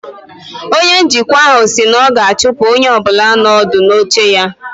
Onye njikwa ahụ si na ọ ga-achụpụ onye ọ bụla nọ ọdụ n'oche ya